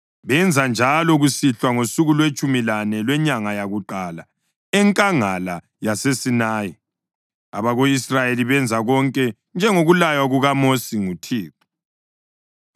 benza njalo kusihlwa ngosuku lwetshumi lane lwenyanga yakuqala enkangala yaseSinayi. Abako-Israyeli benza konke njengokulaywa kukaMosi nguThixo.